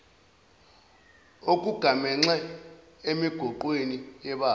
okugamanxe emigoqweni yebala